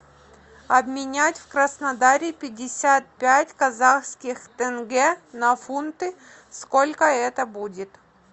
обменять в краснодаре пятьдесят пять казахских тенге на фунты сколько это будет